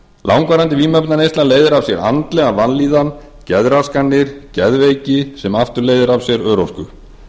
langvarandi vímuefnaneysla leiðir af sér andlega vanlíðan geðraskanir geðveiki sem aftur leiðir af sér örorku